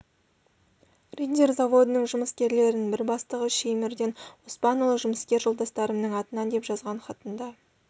риддер заводының жұмыскерлерінің бір бастығы шаймерден оспанұлы жұмыскер жолдастарымның атынан деп жазған хатында